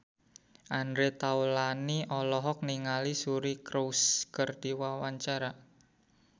Andre Taulany olohok ningali Suri Cruise keur diwawancara